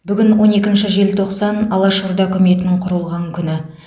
бүгін он екінші желтоқсан алаш орда үкіметінің құрылған күні